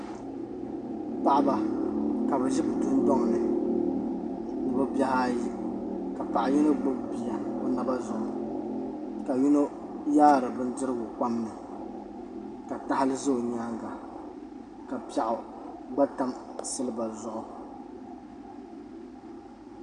Paɣaba ka bi ʒi bi dundoŋ ni ni bi bihi ayi ka Paɣa yino gbubi bia o naba zuɣu ka yino yaari bindirigu kpam ni ka tahali ʒɛ o nyaanga ka piɛɣu gba tam silba zuɣu